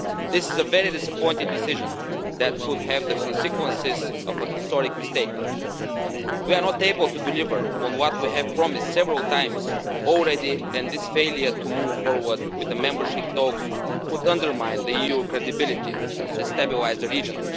This is a very disappointing decision that could have the consequences of an historic mistake. We are not able to deliver on what we have promised several times already and this failure to move forward with the membership talks could undermine the EU's credibility and destabilise the region.